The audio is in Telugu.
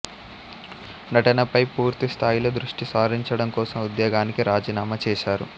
నటనపై పూర్తి స్థాయిలో దృష్టి సారించడం కోసం ఉద్యోగానికి రాజీనామా చేశారు